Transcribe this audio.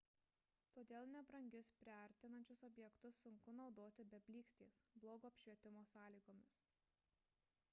todėl nebrangius priartinančius objektyvus sunku naudoti be blykstės blogo apšvietimo sąlygomis